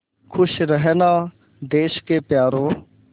खुश रहना देश के प्यारों